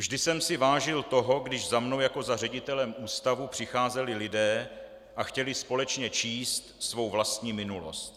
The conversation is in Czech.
Vždy jsem si vážil toho, když za mnou jako za ředitelem ústavu přicházeli lidé a chtěli společně číst svou vlastní minulost.